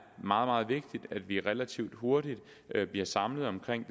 meget vigtigt at vi relativt hurtigt bliver samlet omkring